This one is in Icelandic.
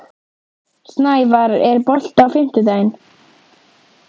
Snævarr, er bolti á fimmtudaginn?